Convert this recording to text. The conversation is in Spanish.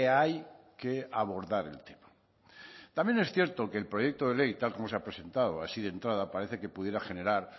hay que abordar el tema también es cierto que el proyecto de ley tal como se ha presentado así de entrada parece que pudiera generar